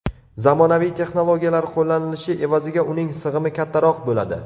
Zamonaviy texnologiyalar qo‘llanishi evaziga uning sig‘imi kattaroq bo‘ladi.